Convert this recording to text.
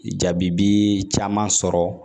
Jabi bi caman sɔrɔ